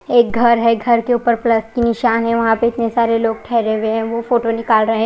एक घर है घर के ऊपर प्लस की निशान है वहां पे इतने सारे लोग ठहरे हुए है वो फोटो निकाल रहे--